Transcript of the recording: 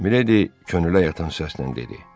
Mileydi könülə yatan səslə dedi: